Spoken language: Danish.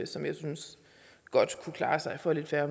som jeg synes godt kunne klare sig for lidt færre